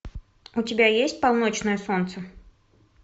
у тебя есть полночное солнце